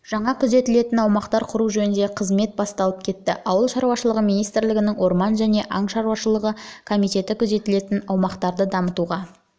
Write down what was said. жаңа күзетілетін аумақтар құру жөніндегі қызмет басталып кетті ауыл шаруашылығы министрлігінің орман және аң шаруашылығы комитеті күзетілетін аумақтарды дамытуға